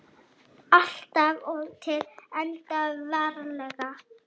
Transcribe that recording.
Alltaf og til enda veraldar.